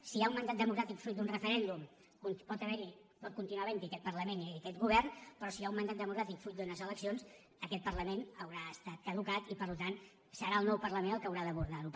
si hi ha un mandat democràtic fruit d’un referèndum pot haver·hi pot continuar havent·hi aquest parlament i aquest go·vern però si hi ha un mandat democràtic fruit d’unes eleccions aquest parlament haurà estat caducat i per tant serà el nou parlament el que haurà d’abordar·ho